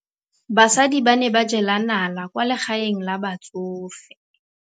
Basadi ba ne ba jela nala kwaa legaeng la batsofe.